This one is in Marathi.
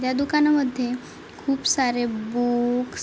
ह्या दुकानामध्ये खुप सारे बुक्स --